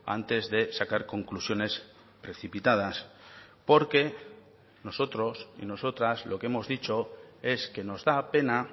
antes de sacar conclusiones precipitadas porque nosotros y nosotras lo que hemos dicho es que nos da pena